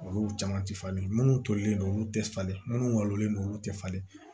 Olu caman ti falen minnu tolilen don olu tɛ falen minnu walonlen don olu tɛ falen